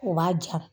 U b'a ja